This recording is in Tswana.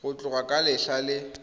go tloga ka letlha le